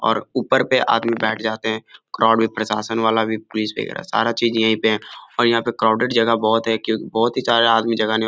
और ऊपर पे आदमी बैठ जाते हैं क्राउड भी प्रशासन वाला भी पुलिस वगैरह सारा चीज़ यही पे है और यहाँ पे क्राउडेड जगह बोहोत है। क्यो की बोहोत ही सारे आदमी जगाने --